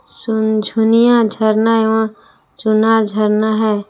सुनझुनिया झरना एवं चुना झरना है।